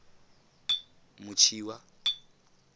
motshiwa